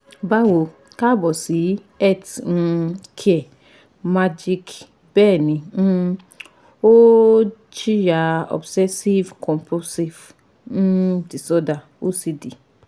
Báwo kaabo si Health um Care Magic Bẹ́ẹ̀ni um ó ń jìyà obsessive Compulsive um Disorder OCD